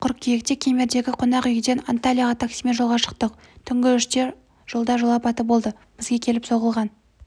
қыркүйекте кемердегі қонақүйден анталияға таксимен жолға шықтық түнгі үште жолда жол апаты болды бізге келіп соғылған